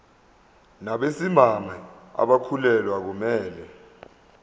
nabesimame abakhulelwe akumele